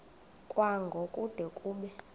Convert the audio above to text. kwango kude kube